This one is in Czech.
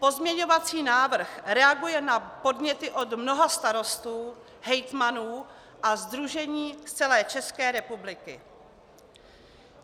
Pozměňovací návrh reaguje na podněty od mnoha starostů, hejtmanů a sdružení z celé České republiky.